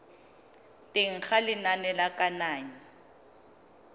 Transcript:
teng ga lenane la kananyo